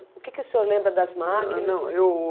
O que que o senhor lembra das máquinas? Não, eu